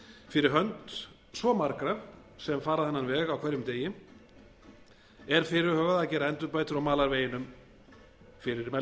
fyrir hönd svo margra sem fara þennan veg á hverjum degi er fyrirhugað að gera endurbætur á malarveginum fyrir